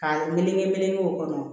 Ka melege meleke o kɔnɔ